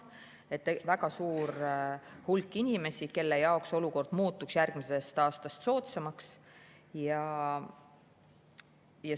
See on väga suur hulk inimesi, kelle jaoks olukord muutuks järgmisest aastast soodsamaks.